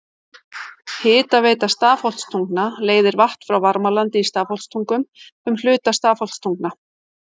Hitaveita Stafholtstungna leiðir vatn frá Varmalandi í Stafholtstungum um hluta Stafholtstungna.